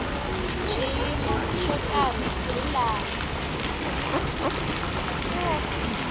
xiyimo xo karhi hi laha